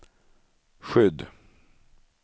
skydd